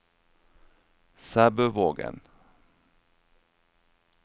Sæbøvågen